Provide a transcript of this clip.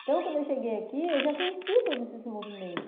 Então, quando eu cheguei aqui, eu já conhecia todo esse movimento.